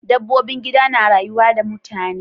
Dabbobin gida na rayuwa da mutane.